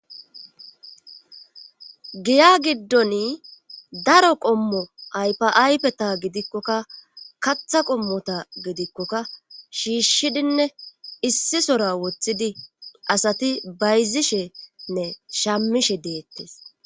giya giddoni daro qommo aypaaypeta gidikkokka katha qommota gidikkoka shiishshidinne issi sora woththidi asati bayzishenne shammishe deettes